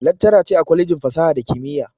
Laccara ce a kwalejin fasaha da kimiyya